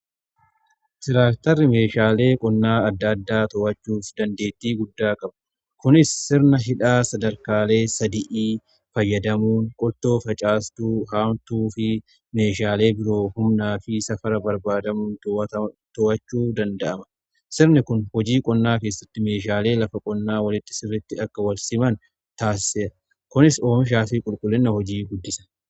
Tiraaktarri meeshaalee qonnaa adda addaa to’achuuf dandeettii guddaa qaba. Kunis sirna hidhaa sadarkaalee sadii fayyadamuun qottoo, facaastuu, haamtuu fi meeshaalee biroo humnaa fi safara barbaadamuu to'achuu danda'ama. Sirni kun hojii qonnaa keessatti meeshaalee lafa qonnaa walitti sirritti akka walsiman taasiseera kunis oomishaa fi qulqullinna hojii guddisa.